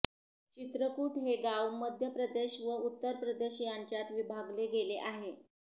चित्रकुट हे गाव मध्य प्रदेश व उत्तर प्रदेश यांच्यात विभागले गेले आहे